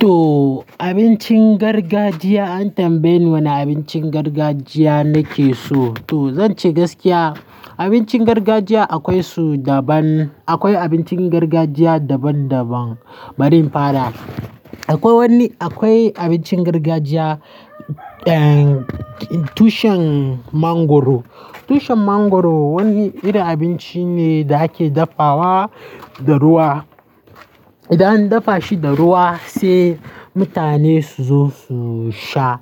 To abincin gargajiya an tambaye ni wane abincin gargajiya nake so. To zan ce gaskiya abincin gargajiya akwai su daban. Akwai abincin gargajiya daban daban. Bari in fara. Akwai wani, akwai abincin gargajiya, eh, tushen mangwaro. Tushen mangwaro wani irin abinci ne da ake dafawa da ruwa. Idan an dafa shi da ruwa sai mutane su zo su sha.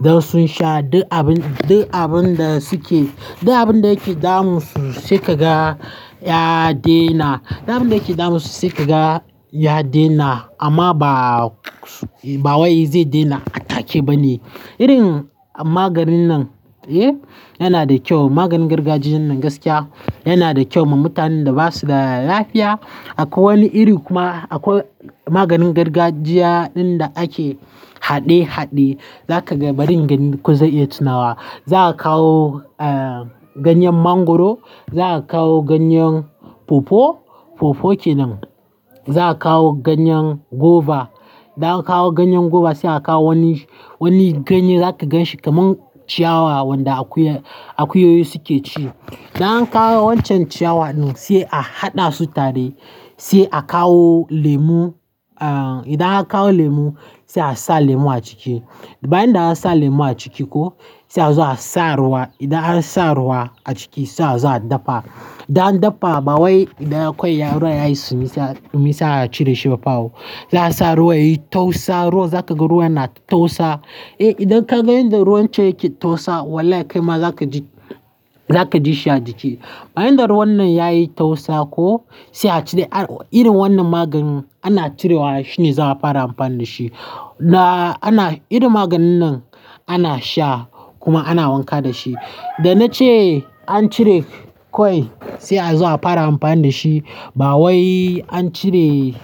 Da sun sha duk abin, duk abin da suke, duk abin da yake damun su sai ka ga ya daina. Duk abin da yake damun su sai ka ga ya daina amma ba, ba wai zai daina a take ba ne. Irin maganin nan, eh, yana da kyau. Maganin gargajiyan nan gaskiya yana da kyau ma mutanen da ba su da lafiya. Akwai wani iri kuma akwai maganin gargajiya ɗin da ake haɗe haɗe. Zakaga bari in gani ko zan iya tunawa. Za aka kawo, eh, ganyen mangwaro, za akawo ganyen pawpaw. Pawpaw kenan. Za aka kawo ganyen goba. Da an kawo ganyen goba sai a kawo wani, wani ganye za ka gan shi kamar ciyawa wanda akuyoyi, asuke ci. Da an kawo wancan ciyawan din sai a haɗa su tare, sai a kawo lemu, eh, idan aka kawo lemu sai a sa lemu a ciki. Bayan da ansa sa lemu a ciki ko sai a zo a sa ruwa. Idan aka sa ruwa a ciki sai a zo a dafa. Da an dafa ba wai idan akwai ruwa yayi sumisa, misala sai a cire shi bafao. Za a sa ruwa yayi tausa, ruwa za ka ga ruwan na tausa. Eh, idan ka ga inda ruwan can yake tausa wallahi kai ma za ka ji, za ka ji sha'a ciki. Bayan da ruwan nan yayi tausa ko sai a cire. Irin wannan maganin ana cirewa shine za a fara amfani da shi. Na ana, irin maganin nan ana sha kuma ana wanka da shi. Da na ce an cire kwai sai a zo a fara amfani da shi. Ba wai an cire.